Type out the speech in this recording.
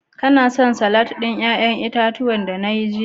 Kala son salatin yayan itatuwa da na yi jiya?